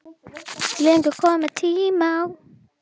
Heyrist ekkert meira.